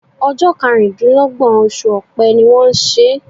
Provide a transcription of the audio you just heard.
Ojó karùndínlógbòn osù òpe ni wón n sè